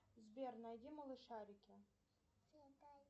сбер найди малышарики